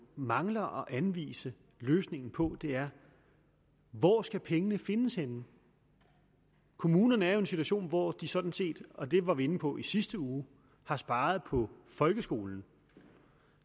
mangler at anvise løsningen på er hvor skal pengene findes henne kommunerne er jo i en situation hvor de sådan set og det var vi jo inde på i sidste uge har sparet på folkeskolen